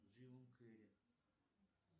джим керри